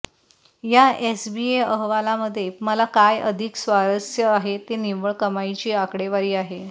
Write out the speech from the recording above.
या एसबीए अहवालामध्ये मला काय अधिक स्वारस्य आहे ते निव्वळ कमाईची आकडेवारी आहे